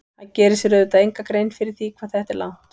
Hann gerir sér auðvitað enga grein fyrir því hvað þetta er langt.